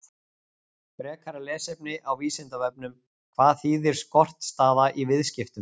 Frekara lesefni á Vísindavefnum: Hvað þýðir skortstaða í viðskiptum?